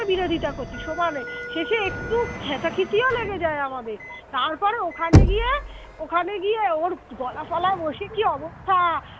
বিরোধিতা করছি সমানে শেষে একটু খেচাখেচি ও লেগে যায় আমাদের তারপর ওখানে গিয়ে ওখানে গিয়ে ওর গলা ফলা বসে কি অবস্থা